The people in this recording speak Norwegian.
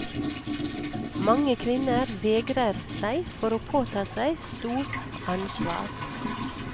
Mange kvinner vegrer seg for å påta seg stort ansvar.